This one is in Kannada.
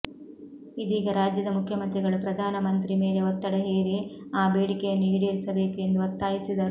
ಇದೀಗ ರಾಜ್ಯದ ಮುಖ್ಯಮಂತ್ರಿಗಳು ಪ್ರಧಾನ ಮಂತ್ರಿ ಮೇಲೆ ಒತ್ತಡ ಹೇರಿ ಆ ಬೇಡಿಕೆಯನ್ನು ಈಡೇರಿಸಬೇಕು ಎಂದು ಒತ್ತಾಯಿಸಿದರು